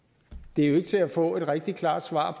det er jo ikke til at få et rigtig klart svar